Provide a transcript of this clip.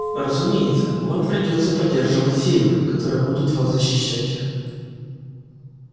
разумеется вам придётся поддерживать силы которые будут вас защищать